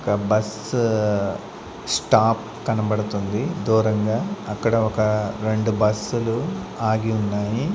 ఒక bus stop కనపడుతుంది దూరంగా అక్కడ ఒక రెండు బస్సులు ఆగి ఉన్నాయి.